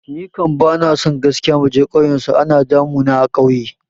Ni kam bani so gaskiya muje kauyen su, ana damu na a kauye